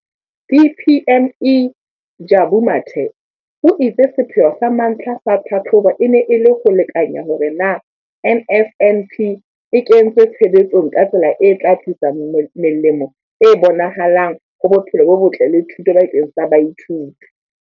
DPME, Jabu Mathe, o itse sepheo sa mantlha sa tlhahlobo e ne e le ho lekanya hore na NSNP e kentswe tshebetsong ka tsela e tla tlisa melemo e bonahalang ho bophelo bo botle le thuto bakeng sa baithuti.